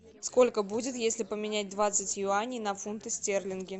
сколько будет если поменять двадцать юаней на фунты стерлинги